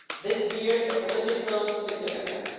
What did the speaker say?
This bears a political significance.